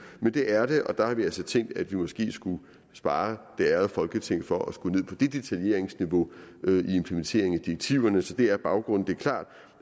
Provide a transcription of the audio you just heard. men det er det og der har vi altså tænkt at vi måske skulle spare det ærede folketing for at skulle ned på det detaljeringsniveau i implementeringen af direktiverne så det er baggrunden det er klart